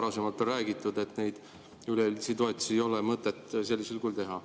Varasemalt on räägitud, et üleüldisi toetusi ei ole mõtet sellisel kujul teha.